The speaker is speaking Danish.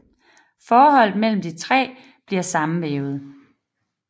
Forholdet mellem de tre bliver sammenvævet